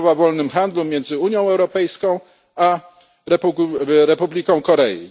umowa o wolnym handlu między Unią Europejską a Republiką Korei.